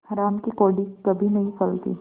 हराम की कौड़ी कभी नहीं फलती